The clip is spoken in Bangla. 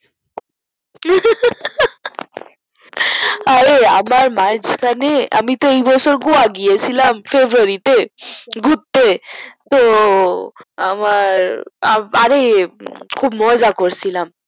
অরে আবার মাঝখানে আমি তো এইবছর গোয়া গিয়েছিলাম তোজোড়িতে ঘুরতে তো আমার অরে খুব মজা করছিলাম